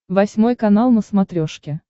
восьмой канал на смотрешке